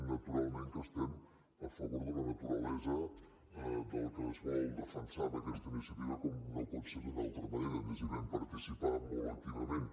naturalment que estem a favor de la naturalesa del que es vol defensar en aquesta iniciativa com no pot ser d’una altra manera a més hi vam participar molt activament